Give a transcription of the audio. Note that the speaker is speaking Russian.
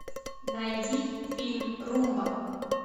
найди фильм румба